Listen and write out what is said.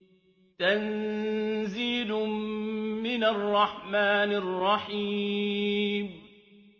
تَنزِيلٌ مِّنَ الرَّحْمَٰنِ الرَّحِيمِ